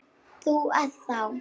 Þú ert þá.?